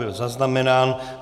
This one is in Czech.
Byl zaznamenán.